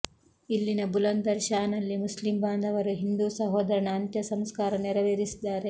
ಇಲ್ಲಿನ ಬುಲಂದರ್ ಶಾನಲ್ಲಿ ಮುಸ್ಲಿಂ ಬಾಂಧವರು ಹಿಂದೂ ಸಹೋದರನ ಅಂತ್ಯ ಸಂಸ್ಕಾರ ನೆರವೇರಿಸಿದ್ದಾರೆ